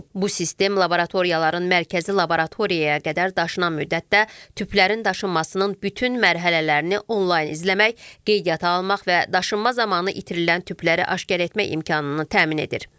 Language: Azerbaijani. Bu sistem laboratoriyaların mərkəzi laboratoriyaya qədər daşınan müddətdə tüplərin daşınmasının bütün mərhələlərini onlayn izləmək, qeydiyyata almaq və daşınma zamanı itirilən tüpləri aşkar etmək imkanını təmin edir.